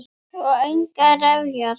Og engar refjar.